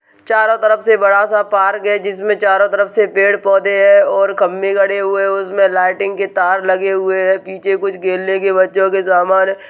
चारो तरफ से बड़ा सा पार्क है जिसमे चारो तरफ से पेड़ पौधे है और खम्भे गड़े हुए है उसमे लाइटिंग की तार लगे हुए है। पीछे कुछ खेलने के बच्चो के समान है|